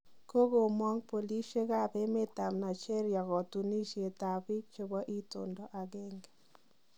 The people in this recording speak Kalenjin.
Kogomook polisiek ab emet ab Nigeria kotunisiet ab biik chebo itondo ageng'e.